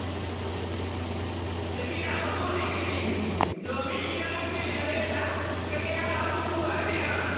Tafiya mabuɗin ilimi, domin idan mutum ya lelleƙa, sai ya ga abubuwa da yawa.